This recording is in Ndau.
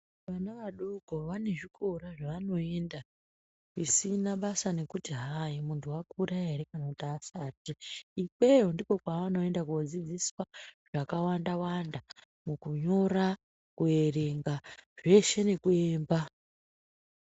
Vana adoko vane zvikora zva vano enda zvisina basa nekuti hai muntu akura ere kana kuti asati ikweyo ndiko kwa ano ende ko dzidziswa zvaka wanda wanda muku nyora ku erenga zveshe neku emba.